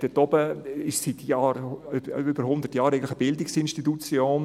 Dort oben befindet sich seit über hundert Jahren eigentlich eine Bildungsinstitution.